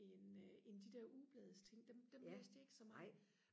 end end de der ugeblads ting dem læste jeg ikke så meget